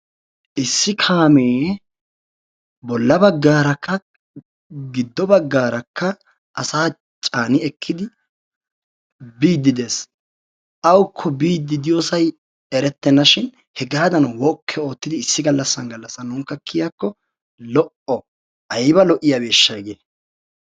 Issi kaamee bolla baggaarakka giddo baggaarakka asaa caani ekkidi biiddi Des. Awukko biiddi diyosayi erettenna shin hegaadan woke oottidi issi gallassan gallassan nuunikka kiyakko lo'o. Ayba lo'iyabeeshsha hegee.